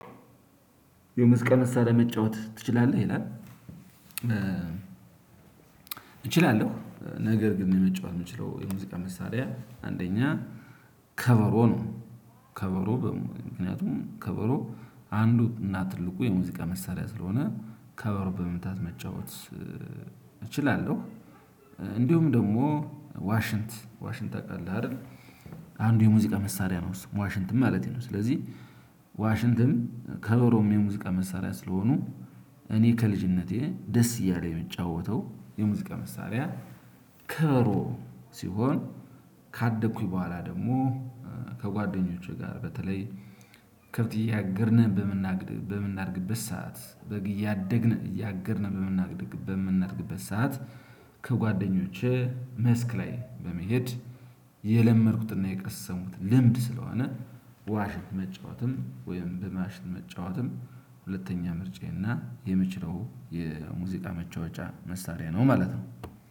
የሙዚቃ መሳሪያ መጫወት ትችላለህ ይላል? እችላለሁ ነገር ግን የመጫወት የምችለው የሙዚቃ መሳሪያ አንደኛ ከበሮ ነው ከበሮ በሙሉ ምክንያቱም ከበሮ አንዱ እና ትልቁ የሙዚቃ መሳሪያ ስለሆነ ከበሮ በመምታት መጫወት እችላለሁ። እንዲሁም ደግሞ ዋሽንት ዋሽንት ታውቃለህ አይደል? አንዱ የሙዚቃ መሳሪያ ነው ዋሽንትም ማለቴ ነው። ስለዚህ ዋሽንትም ከበሮም የሙዚቃ መሳሪያ ስለሆኑ እኔ ከልጅነቴ ደስ እያለኝ የምጫወተው የሙዚቃ መሳሪያ ከበሮ ሲሆን ካደኩኝ በኋላ ደግሞ ከጓደኞቼ ጋር በተለይ ከብት እያገድን በምናግድበት ሰዓት በግ እያገድን በምናድግበት ሰዓት ከጓደኞቼ መስክ ላይ በመሄድ የለመድኩትና የቀሰሙት ልምድ ስለሆነ ዋሽን መጫወትም ወይም በማሽን መጫወትም ሁለተኛ ምርጫዬ እና የምችለው የሙዚቃ መጫወቻ መሳሪያ ነው። ማለት ነው።